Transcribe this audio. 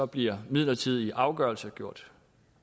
bliver midlertidige afgørelser gjort